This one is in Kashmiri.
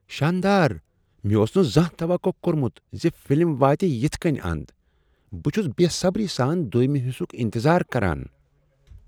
شاندار! مےٚ اوس نہٕ زانٛہہ توقع كورمُت ز فلم واتہِ یتھہٕ کٕنۍ اند ۔ بہٕ چھُس بے صبری سان دو٘یمہِ حصُک انتظار کران۔